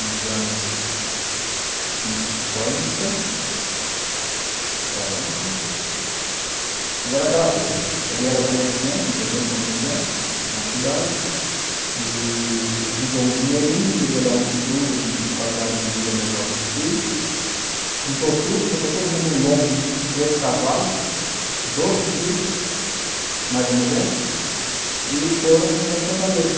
nos anos cinquenta ou quarenta, fizeram aquela coisa, ele era comerciante, um pequeno comerciante na cidade, e juntou um dinheirinho, queria dar um estudo, uma qualidade de vida melhor para os filhos, juntou tudo, botou todo mundo em um lombo de três cavalos, doze filhos, mais a mulher, e foram para Fortaleza.